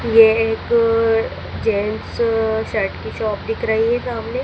ये एक gents shirt की शॉप दिख रही है सामने।